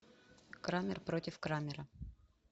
крамер против крамера